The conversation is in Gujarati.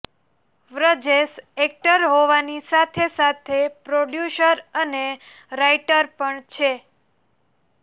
વ્રજેશ એક્ટર હોવાની સાથે સાથે પ્રોડ્યુસર અને રાઈટર પણ છે